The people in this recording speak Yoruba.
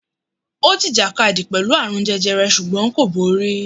Ó jìjàkadì pẹ̀lú àrùn jẹjẹrẹ ṣùgbọ́n kò borí.